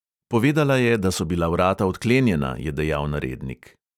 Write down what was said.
"Povedala je, da so bila vrata odklenjena," je dejal narednik.